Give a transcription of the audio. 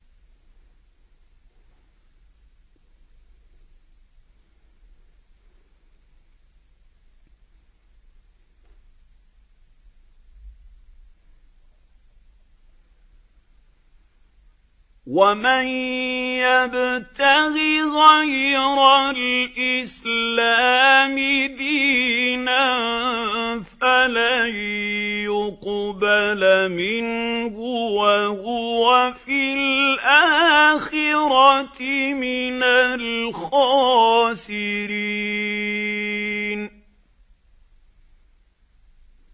وَمَن يَبْتَغِ غَيْرَ الْإِسْلَامِ دِينًا فَلَن يُقْبَلَ مِنْهُ وَهُوَ فِي الْآخِرَةِ مِنَ الْخَاسِرِينَ